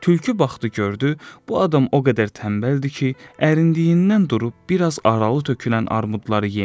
Tülkü baxdı, gördü, bu adam o qədər tənbəldir ki, ərindiyindən durub bir az aralı tökülən armudları yemir.